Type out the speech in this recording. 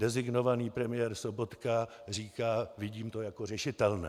Designovaný premiér Sobotka říká "vidím to jako řešitelné".